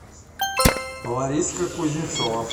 лариска кузнецова